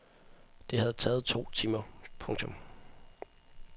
Det havde taget to timer. punktum